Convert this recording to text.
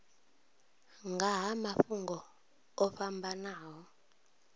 nga ha mafhungo o fhambanaho